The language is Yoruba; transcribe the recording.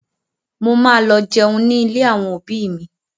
Mo ma lọ jẹun ní ilé àwọn òbí mi